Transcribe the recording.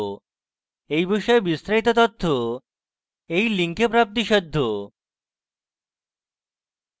এই বিষয়ে বিস্তারিত তথ্য এই link প্রাপ্তিসাধ্য